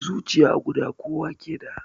Zuciya guda kowa ke da